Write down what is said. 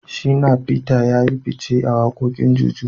Shina feter yayi fice a wakokin Juju.